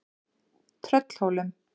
Tröllhólum